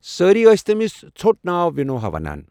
سٲری ٲسۍ تمِس ژھو٘ٹ ناو وِنوھا ونان ۔